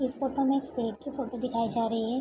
इस फोटो में एक शेर की फोटो दिखाई जा रही है।